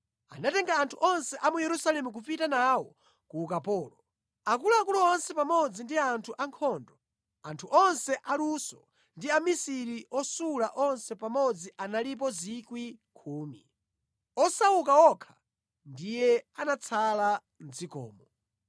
Anatenga anthu onse a mu Yerusalemu kupita nawo ku ukapolo. Akuluakulu onse pamodzi ndi anthu ankhondo, anthu onse aluso ndi amisiri osula onse pamodzi analipo 10,000. Osauka okha ndiye anatsala mʼdzikomo.